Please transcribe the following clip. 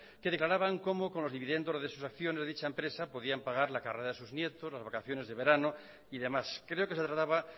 que declaraban cómo con los dividendos de sus acciones de dicha empresa podían pagar la carrera de sus nietos las vacaciones de verano y demás creo que se trataba